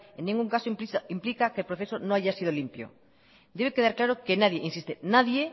en ningún caso implica que el proceso no haya sido limpio debe quedar claro que nadie insisto nadie